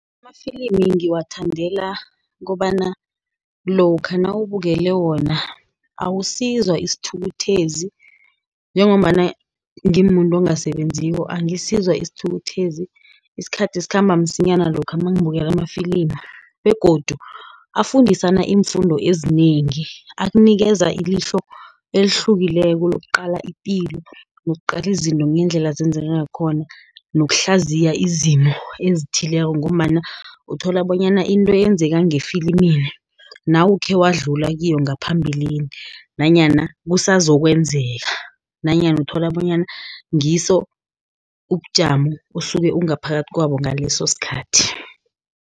Amafilimi ngiwathandela kobana lokha nawubukele wona, awusizwa isithukuthezi njengombana ngimuntu ongasebenziko, angasizwa isithukuthezi. Isikhathi sikhamba msinyana lokha mangikubukela amafilimu, begodu afundisane iimfundo ezinengi. Akunikeza ilihlo elihlukileko lokuqala ipilo, nokuqala izinto ngendlela zenzeka khona, nokuhlaziya izimo ezithileko, ngombana uthola bonyana into eyenzeka ngefilimini, nawo ukhewadlula kiyo ngaphambilini, nanyana kusazokwenzeka, nanyana uthola bonyana ngiso ubujamo, osuke ungaphakathi kwabo ngaleso sikhathi.